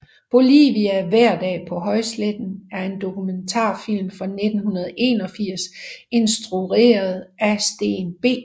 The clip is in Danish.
Bolivia hverdag på højsletten er en dokumentarfilm fra 1981 instrueret af Steen B